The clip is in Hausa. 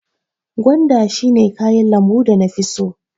Gwanda shi ne kayan lambu da na fi so.